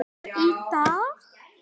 Í dag?